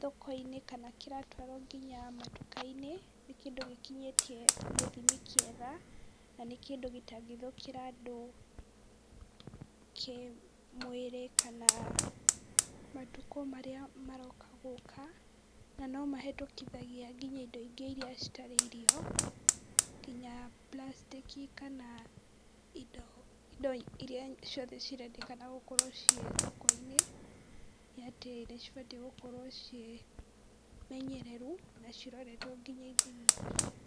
thokoinĩ, kana kĩratwaro nginya matukainĩ, kĩndũ gĩkinyĩtie gĩthimi kĩega na nĩ kĩndũ gĩtangĩthũkĩra andũ kĩmwĩrĩ kana ,matukũ marĩa maroka na nĩmahĩtũkagia nginya indo ingĩ iria citarĩ irio nginya prastĩki kana indo iria ciothe cirendekana gũkorwo ciĩ thokoinĩ nĩatĩ nĩcibatiĩ gũkorwo ciĩ menyereru na ciroretwo nginya ithimi wa cio.